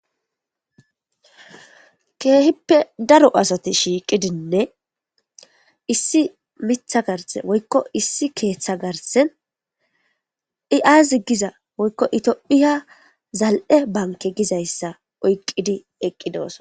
keehippe daro asati shiiqidinne issi mitha garse woykko issi keeththa garsen iazi giza woykko itophiya zal7e banke gizayssa oyqqidi eqqidoosa